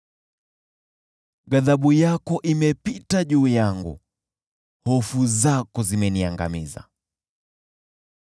Ghadhabu yako imepita juu yangu; hofu zako zimeniangamiza.